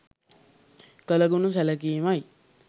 කළ ගුණ සැලකීමයි.